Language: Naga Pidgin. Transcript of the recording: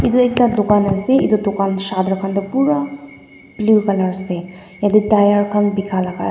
etu ekta dukan ase khan atu dukan shattered khan tu pura blue colour ase yate tyres khan bikha laga jaga ase.